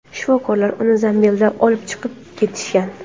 Shifokorlar uni zambilda olib chiqib ketishgan.